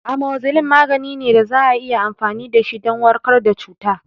Amoxicilin magani ne da za a iya amfani dashi don warkar da cuta